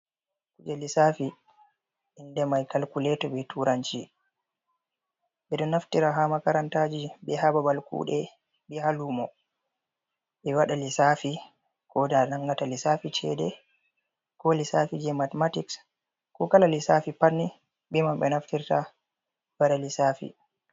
Kuje lissafi inde mai kalkuleto ɓe turanci ɓe ɗo naftira ha makarantaji ɓe ha babal kuɗe be ha lumo ɓe waɗa lissafi ko da nangata lissafi cede ko lissafi je mathematics ko kala lissafi patni be man ɓe naftirta ɓe wada lissafi.